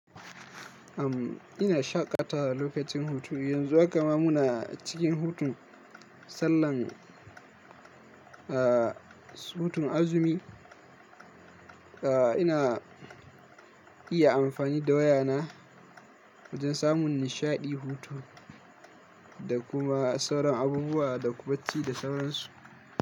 Am ina shaƙatawa lokacin hutu, yanzu kuma muna cikin hutun sallan, ah, hutun azumi. Ah, ina iya amfani da wayana wajen samun nishaɗi, hutu da kuma sauran abubuwa da kubaci da sauransu.